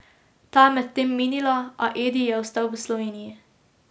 Ta je medtem minila, a Edi je ostal v Sloveniji.